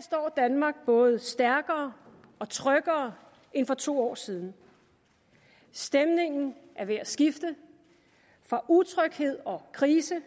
står danmark både stærkere og tryggere end for to år siden stemningen er ved at skifte fra utryghed og krise